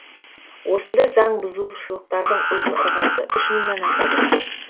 осындай заң бұзушылықтардың ұзын ырғасы үш мыңнан асады